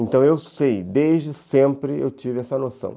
Então eu sei, desde sempre eu tive essa noção.